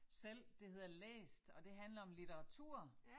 Selv det hedder læst og det handler om litteratur